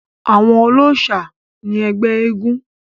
àwọn olóòsà ni ẹgbẹ́ eégún